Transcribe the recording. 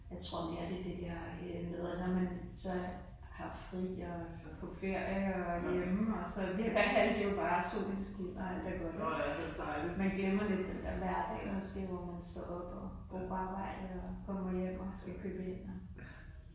Jeg tror mere det er det der øh med når man så har fri og kan få ferie og er hjemme og så virker alt jo bare, solen skinner alt er godt ik, altså man glemmer lidt den der hverdag måske hvor man står op går på arbejde, og kommer hjem og skal købe ind og